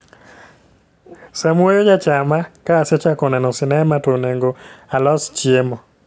Samuoyo ja chama ka asechako neno sinema to onego alos chiemo